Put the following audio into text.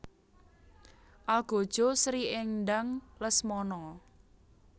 Algojo Sri Endang Lesmono